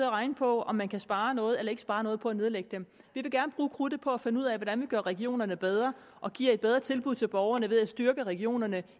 og regne på om man kan spare noget eller ikke spare noget på at nedlægge dem vi vil gerne bruge krudtet på at finde ud af hvordan vi gør regionerne bedre og giver et bedre tilbud til borgerne ved at styrke regionerne